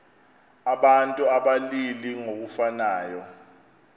abantu abalili ngokufanayo